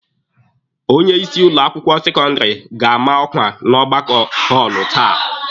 Onye isi ụlọ akwụkwọ sekọndịrị ga-ama ọkwa n'ọgbakọ họọlụ taa.